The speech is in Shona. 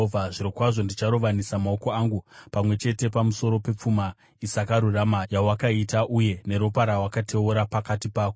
“ ‘Zvirokwazvo ndicharovanisa maoko angu pamwe chete pamusoro pepfuma isakarurama yawakaita uye neropa rawakateura pakati pako.